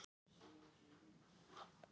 Það fóru fáir bílar um götuna fyrir ofan.